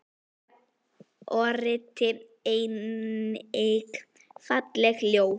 Soffía orti einnig falleg ljóð.